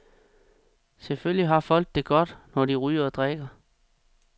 Selvfølgelig har folk det godt, når de ryger og drikker.